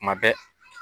Tuma bɛɛ